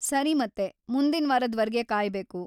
ಸರಿ ಮತ್ತೆ, ಮುಂದಿನ್ವಾರದ್‌ ವರ್ಗೆ ಕಾಯ್ಬೇಕು.